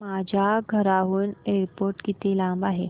माझ्या घराहून एअरपोर्ट किती लांब आहे